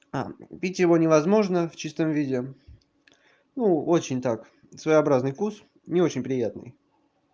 а пить его невозможно в чистом виде а ну очень так своеобразный вкус не очень приятный